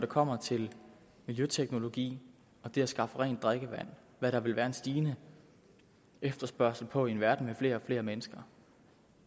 kommer til miljøteknologi og det at skaffe rent drikkevand hvad der vil være en stigende efterspørgsel på i en verden med flere og flere mennesker